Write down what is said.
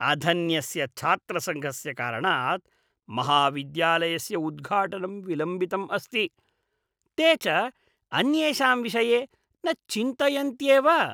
अधन्यस्य छात्रसङ्घस्य कारणात् महाविद्यालयस्य उद्घाटनं विलम्बितम् अस्ति, ते च अन्येषां विषये न चिन्तयन्त्येव।